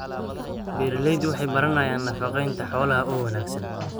Beeraleydu waxay baranayaan nafaqeynta xoolaha oo wanaagsan.